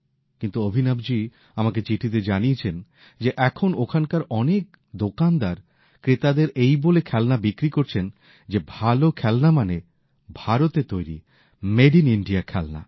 কিন্তু অভিনবজি আমাকে চিঠিতে জানিয়েছেন যে এখন ওখানকার অনেক দোকানদার ক্রেতাদের এই বলে খেলনা বিক্রি করছেন যে ভাল খেলনা মানে ভারতে তৈরি মেড ইন ইন্ডিয়া খেলনা